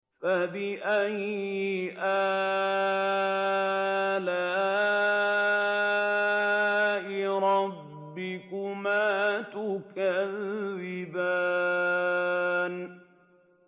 فَبِأَيِّ آلَاءِ رَبِّكُمَا تُكَذِّبَانِ